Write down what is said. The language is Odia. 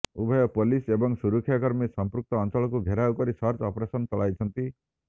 ଉଭୟ ପୋଲିସ ଏବଂ ସୁରକ୍ଷାକର୍ମୀ ସମ୍ପୃକ୍ତ ଅଞ୍ଚଳକୁ ଘେରାଉ କରି ସର୍ଚ୍ଚ ଅପରେଶନ ଚଳାଇଛନ୍ତି